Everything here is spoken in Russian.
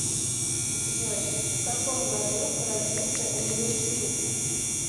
джой в каком году родился уилл смит